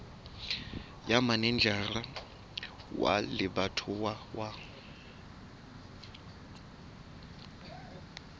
ya manejara wa lebatowa wa